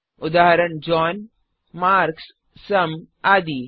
उदाहरण John Marx सुम आदि